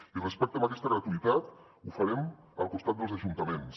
i respecte a aquesta gratuïtat ho farem al costat dels ajuntaments